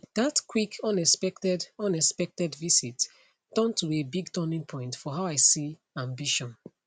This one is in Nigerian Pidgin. that quick unexpected unexpected visit turn to a big turning point for how i see ambition